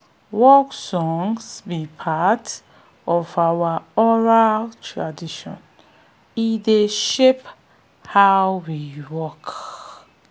de drumbeat dey speak wen our mouths don tire to dey sing